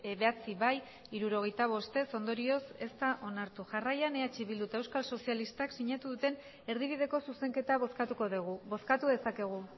bederatzi bai hirurogeita bost ez ondorioz ez da onartu jarraian eh bildu eta euskal sozialistak sinatu duten erdibideko zuzenketa bozkatuko dugu bozkatu dezakegu